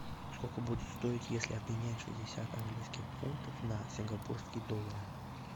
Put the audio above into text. сколько будет стоить если обменять шестьдесят английских фунтов на сингапурские доллары